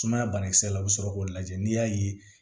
Sumaya banakisɛ la u bɛ sɔrɔ k'o lajɛ n'i y'a ye